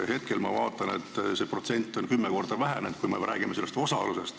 Hetkel ma vaatan, et see protsent on kümme korda vähenenud, kui me räägime sellest osakaalust.